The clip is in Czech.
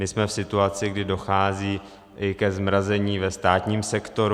My jsme v situaci, kdy dochází ke zmrazení i ve státním sektoru.